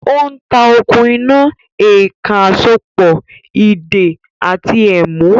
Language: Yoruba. Ó ń ta “okùn iná, èèkàn àsopọ̀, ìdè àti ẹ̀mú”